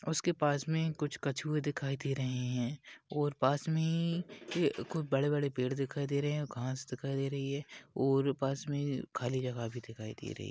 उसके पास में कुछ कछुए दिखाई दे रहे है और पास मे ही कोई बड़े बड़े पेड़ दिखाई दे रहे है। घास दिखाई दे रही है और पास में खाली जगह भी दिखाई दे रही है।